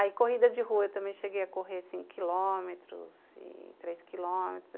Aí, corrida de rua, eu também cheguei a correr, assim, quilômetros e três quilômetros.